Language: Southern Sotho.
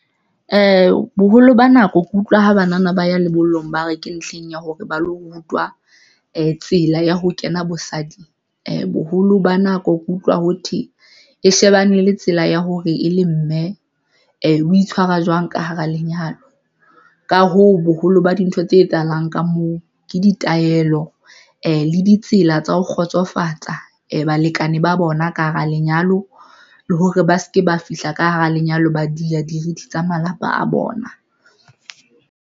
Boholo ba nako ke utlwa ha banana ba ya lebollong, ba re ke ntlheng ya hore ba lo rutwa tsela ya ho kena bosading boholo ba nako ke utlwa ho thwe e shebane le tsela ya hore e le mme o itshwara jwang ka hara lenyalong ka hoo, boholo ba dintho tse etsahalang ka moo ke ditaelo le ditsela tsa ho kgotsofatsa balekane ba bona ka hara lenyalo, le hore ba se ke ba fihla ka hara lenyalo, ba di ya dirithi tsa malapa a bona.